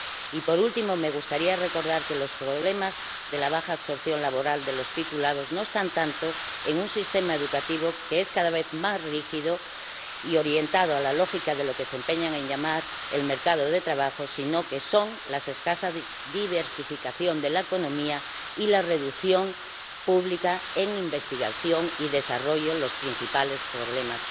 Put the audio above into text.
Y, por último, me gustaría recordar que los problemas de la baja absorción laboral de los titulados no están tanto en un sistema educativo que es cada vez más rígido y orientado a la lógica de lo que se empeñan en llamar el mercado de trabajo, sino que son la escasa diversificación de la economía y la reducción pública en investigación y desarrollo en los principales problemas.